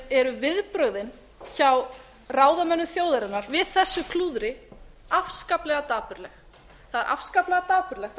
eru viðbrögðin hjá ráðamönnum þjóðarinnar við þessu klúðri afskaplega dapurleg það er afskaplega dapurlegt að hæstvirtur